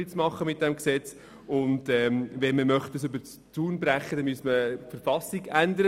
Wenn man radikaler vorgehen wollte, müsste man die Verfassung ändern.